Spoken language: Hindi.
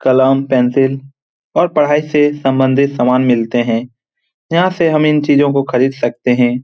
कलम पेन्सिल और पढाई से सम्बन्ध्ति सामान मिलते हैं यहाँ से हम इन चीजों को खरीद सकते हैं ।